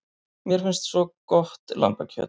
Mér finnst svo gott lambakjöt.